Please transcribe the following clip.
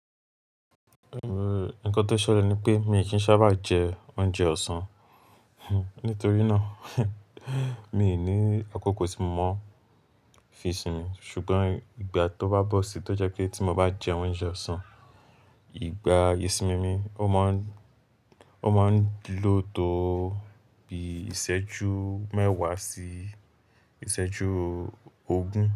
Nǹkan tó ṣẹlẹ̀ ni pé mi kì í sábà jẹ oúnjẹ ọ̀sán, nítorí náà mi ní àkókò tí mo máa fi sin mi. Ṣùgbọ́n ìgbà tó bá bọ̀ sí tó jẹ́ pé tí mo bá jẹ oúnjẹ ọ̀sán, ìgbà isin mi ó máa ń, ó máa ń lo tó bí isẹ́jú mẹ́wàá sí isẹ́jú ogún.